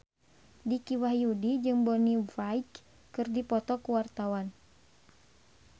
Dicky Wahyudi jeung Bonnie Wright keur dipoto ku wartawan